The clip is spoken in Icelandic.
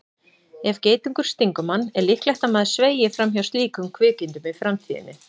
Ef geitungur stingur mann er líklegt að maður sveigi fram hjá slíkum kvikindum í framtíðinni.